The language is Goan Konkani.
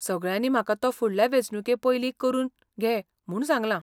सगळ्यांनी म्हाका तो फुडल्या वेंचणुके पयली करून घे म्हूण सांगलां.